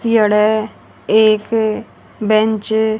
एक बेंच --